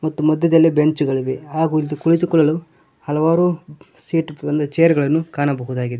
ಮತ್ತು ಮಧ್ಯದಲ್ಲಿ ಬೆಂಚ್ ಗಳಿವೆ ಹಾಗು ಇಲ್ಲಿ ಕುಳಿತುಕೊಳ್ಳಲು ಹಲವಾರು ಸೀಟ್ ಚೇರ್ ಗಳನ್ನು ಕಾಣಬಹುದಾಗಿದೆ.